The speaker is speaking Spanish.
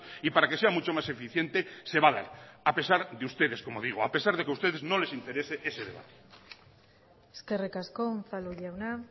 y para que sea mucho más eficiente se a pesar de que a ustedes no les interese ese debate eskerrik asko unzalu jauna